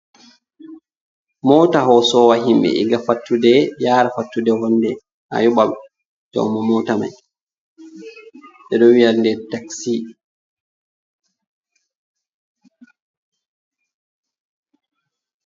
Mota hosowa himɓe ɗiga fattuɗe yara fattuɗe ,honɗe a yoɓa joumu mota mai ɓe ɗo viya ɗe taksi.